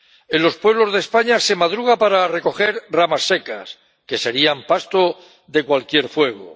En los pueblos de España se madruga para recoger ramas secas, que serían pasto de cualquier fuego